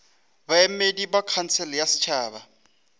baemedi ba khansele ya setšhaba